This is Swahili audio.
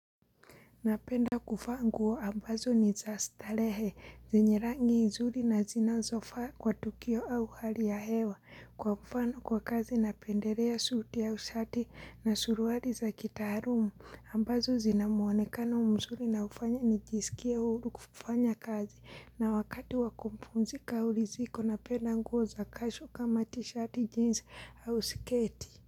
Napenda kuvaa nguo ambazo ni za starehe, zenye rangi nzuri na zinazofaa kwa tukio au hali ya hewa, kwa mfano kwa kazi napendelea suti au shati na suruali za kitaalum, ambazo zinamuonekano mzuri na hufanya nijisikie huru kufanya kazi, na wakati wakupumzika au liziko napenda nguo za casual kama t-shirt, jeans au sketi.